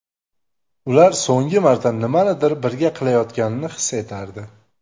Ular so‘nggi marta nimanidir birga qilayotganini his etardi.